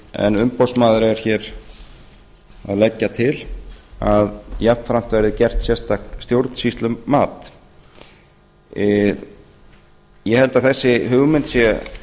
en umboðsmaður er hér að leggja til að jafnframt verði gert sérstakt stjórnsýslumat ég held að þessi hugmynd sé